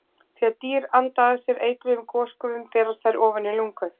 Þegar dýr anda að sér eitruðum gosgufum berast þær ofan í lungu.